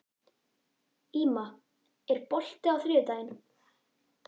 Íma, er bolti á þriðjudaginn?